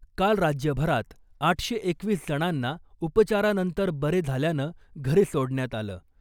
काल राज्यभरात आठशे एकवीस जणांना उपचारानंतर बरे झाल्यानं घरी सोडण्यात आलं .